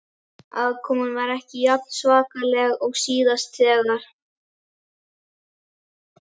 Aðkoman var ekki jafn svakaleg og síðast þegar